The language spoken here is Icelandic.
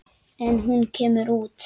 En hún kemur út.